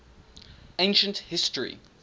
ancient history